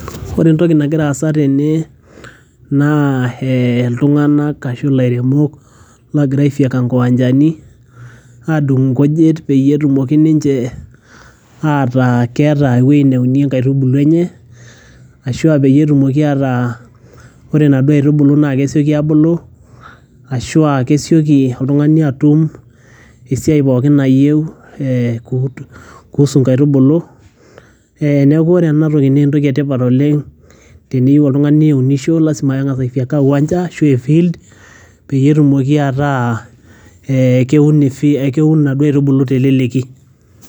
ore entoki nagira aasa tene naa eh iltung'anak ashu ilairemok logira aifyeka inkiwanjani adung nkujit peyie etumoki ninche ataa keeta ewueji neunie nkaitubulu enye ashua peyie etumoki ataa ore inaduo aitubulu naa kesioki abulu ashua kesioki oltung'ani atum esiai pookin nayieu eh kuhusu inkaitubulu eh, neku ore enatoki naa entoki etipat oleng teniyieu oltung'ani niunisho lasima peng'as aifyeka uwanja ashu e field pee etumoki ataa ee keun efi keun inaduo aitubulu teleleki.